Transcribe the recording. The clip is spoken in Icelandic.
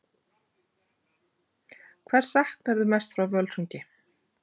Hvers saknarðu mest frá Völsungi?